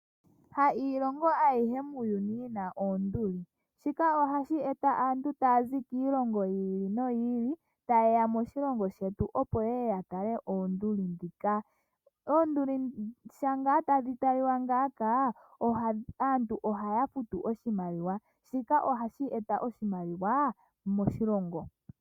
Ha iilongo ayihe muuyuni yina onduli shika ohashi eta aantu taazi kiilongo yi ili noyi ili tayeya moshilongo shetu opo yeye ya tale oonduli dhika ,onduli dhika sho ngaa tadhi talika ngaaka aantu ohaa futu oshimaliwa shika ohashi eta oshimaliwa moshilongo.